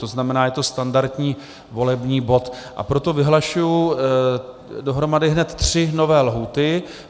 To znamená, je to standardní volební bod, a proto vyhlašuji dohromady hned tři nové lhůty.